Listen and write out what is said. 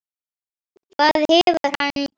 Hvað hefur hann gert?